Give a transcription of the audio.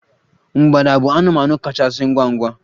mgbada bụ anụmanụ kachasị ngwa ngwa